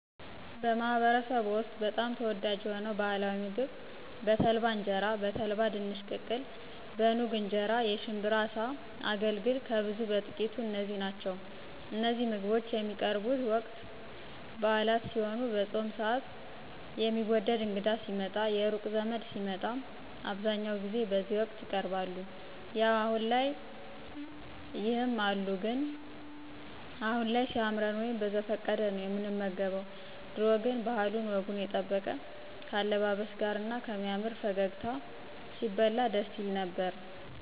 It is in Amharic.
በማህበረሰብዎ ውስጥ በጣም ተወዳጅ የሆነው ባህላዊ ምግብ በተልባ እንጀራ፣ በተልባ ድንች ቅቅል፣ በኑግ እንጀራ፣ የሽብራ አሳ፣ አገልግል፣ ከብዙ በጥቂቱ እነዚህ ናቸው እነዚህ ምግቦች የሚቀርቡቡት ወቅት ብአላት ሲሄኑ፣ በፆም ስአት፣ የትዎደው እንግዳ ሲመጣ፣ የሩቅ ዘመድ ሲመጣ አብዛኛው ጊዜ በዚህ ወቅት ይቀርባሉ። ያው አሁን ላይ ይም አሉ ግን አሁን ላይ ሲያምረን ወይም በዘፈቀደ ነው ምንመገባቸው ድሮ ግን ባህሉን ወጉን የጠበቀ ከአለባበስ ጋር እና ከሚያምር ፈገግታ ሲበላ ደስ ይል ነበር።